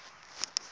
ya wena ku ya hi